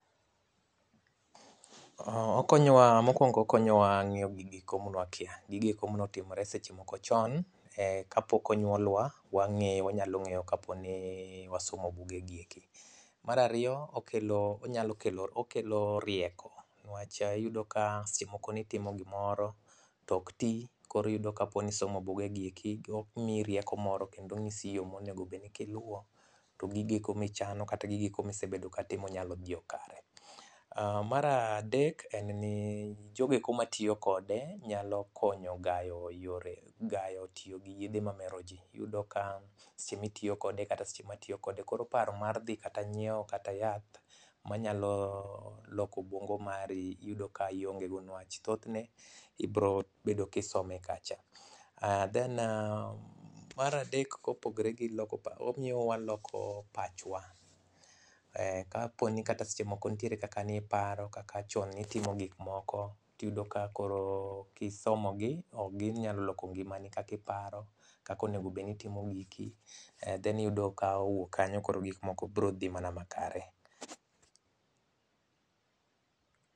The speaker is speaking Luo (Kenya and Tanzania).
Mokwongo okonyowa ng'eyo gigo manewakia. Gigo eko manotimre seche moko chon kapok onyuolwa wanyalo ng'eyo kaponi wasomo buge gi eki. Mar ariyo okelo rieko, niwach iyudo ka seche moko nitimo gimoro to ok ti koro iyudo kapo ni isomo buge gi eki go gimiyi rieko moro kendo ong'isi yo monego bedni kiluwo to gigieko michano kata gigieko misebedo kitimo nyalo dhiyo kare. Mar adek en ni jogo eko matiyo kode nyalo konyo gayo tiyo gi yedhe mamero ji. Iyudo ka seche mitiyokode kata seche matiyokode koro paro mar dhi kata nyieo kata yath manyalo loko obuongo mari iyudo ka iongego niwach thothne ibrobedo kisome kacha. Then mar adek kopogre gi loko paro. Omi waloko pachwa kaponi kata seche moko ntiere kakani paro kaka chon nitimo gikmoko tiyudo ka koro kisomo gi to ginyalo loko ngimani kakiparo, kaka onegobed nitimo giki then iyudo ka owuok kanyo koro gikmoko bro dhi mana makare.